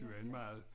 Det var en meget